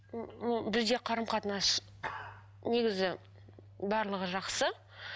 бізде қарым қатынас негізі барлығы жақсы